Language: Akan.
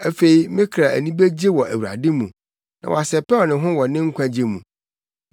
Afei me kra ani begye wɔ Awurade mu na wasɛpɛw ne ho wɔ ne nkwagye mu.